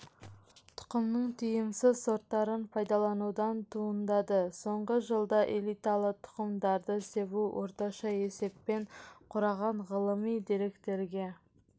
тұқымның тиімсіз сорттарын пайдаланудан туындады соңғы жылда элиталы тұқымдарды себу орташа есеппен құраған ғылыми деректерге